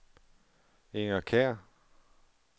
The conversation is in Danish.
Inger Kjær